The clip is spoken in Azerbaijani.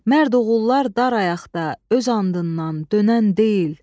Mərd oğullar dar ayaqda öz andından dönən deyil.